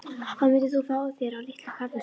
Hvað myndir þú fá þér á Litlu kaffistofunni?